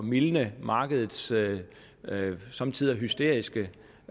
mildne markedets somme tider hysteriske